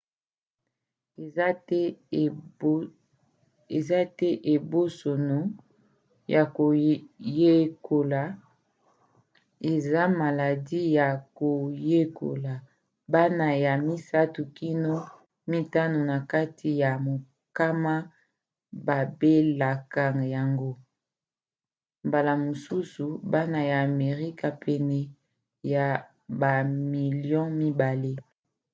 eza te ebosono ya koyekola eza maladi ya koyekola; bana 3 kino 5 na kati ya mokama babelaka yango mbala mosusu bana ya amerika pene ya bamilio 2